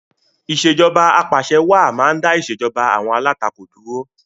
Ìṣèjoba Ap'àṣẹwàá máa ń dá ìṣèjoba àwọn alátakò dúró